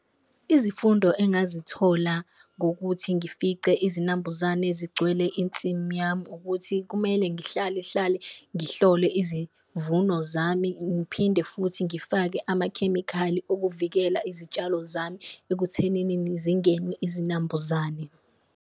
Izifundo engazithola ngokuthi ngifice izinambuzane zigcwele insimi yami ukuthi kumele ngihlalehlale ngihlole izivuno zami, ngiphinde futhi ngifake amakhemikhali okuvikela izitshalo zami ekuthenini zingenwe izinambuzane.